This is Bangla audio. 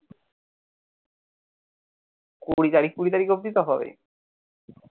কুড়ি তারিখ ফুরি তারিখ অবধি তো হবে।